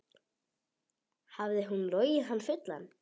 Hafði hún logið hann fullan?